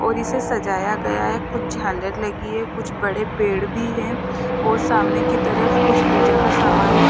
और इसे सजाया गया है कुछ झालर लगी है कुछ बड़े पेड़ भी हैं और सामने की तरफ कुछ पूजा का सामान है।